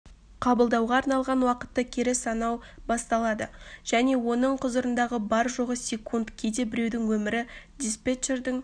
қабылдауға арналған уақытты кері санау басталады және оның құзырындағы бар-жоғы секунд кейде біреудің өмірі диспетчердің